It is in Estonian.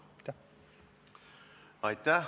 Aitäh!